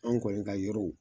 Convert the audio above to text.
Anw kɔni ka yɔrɔw.